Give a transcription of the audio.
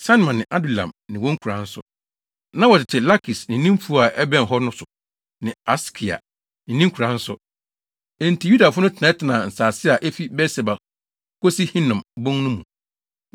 Sanoa ne Adulam ne wɔn nkuraa nso. Na wɔtete Lakis ne ne mfuw a ɛbɛn hɔ no so ne Aseka ne ne nkuraa nso. Enti Yudafo no tenatena nsase a efi Beer-Seba kosi Hinom bon no mu.